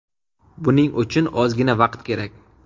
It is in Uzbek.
Buning uchun ozgina vaqt kerak.